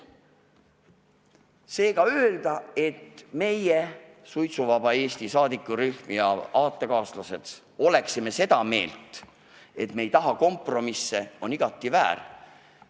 Seega öelda, et meie, Suitsuvaba Eesti toetusrühm ja meie aatekaaslased, oleksime seda meelt, et me ei taha kompromisse, on igati väär.